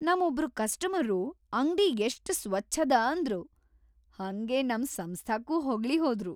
ನಂ ಒಬ್ರು ಕಸ್ಟಮರ್ರು ಅಂಗ್ಡಿ ಎಷ್ಟ್ ಸ್ವಚ್ಛದ ಅಂದ್ರು, ಹಂಗೆ ನಮ್‌ ಸಂಸ್ಥಾಕ್ಕೂ ಹೊಗಳಿಹೋದ್ರು.